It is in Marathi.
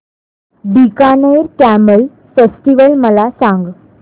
बीकानेर कॅमल फेस्टिवल मला सांग